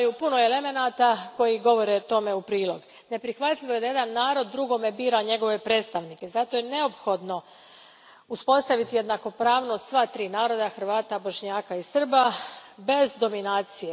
je neophodno uspostaviti jednakopravnost sva tri naroda, Hrvata, Bošnjaka i Srba bez dominacije.